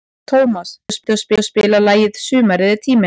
Tómas, kanntu að spila lagið „Sumarið er tíminn“?